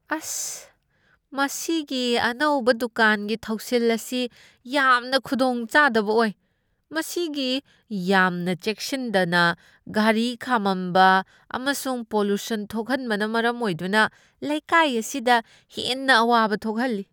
ꯑꯁ! ꯃꯁꯤꯒꯤ ꯑꯅꯧꯕ ꯗꯨꯀꯥꯟꯒꯤ ꯊꯧꯁꯤꯜ ꯑꯁꯤ ꯌꯥꯝꯅ ꯈꯨꯗꯣꯡꯆꯥꯗꯕ ꯑꯣꯏ꯫ ꯃꯁꯤꯒꯤ ꯌꯥꯝꯅ ꯆꯦꯛꯁꯤꯟꯗꯅ ꯒꯥꯔꯤ ꯈꯥꯝꯃꯝꯕ ꯑꯃꯁꯨꯡ ꯄꯣꯂꯨꯁꯟ ꯊꯣꯛꯍꯟꯕꯅ ꯃꯔꯝ ꯑꯣꯏꯗꯨꯅ ꯂꯩꯀꯥꯏ ꯑꯁꯤꯗ ꯍꯦꯟꯅ ꯑꯋꯥꯕ ꯊꯣꯛꯍꯜꯂꯤ꯫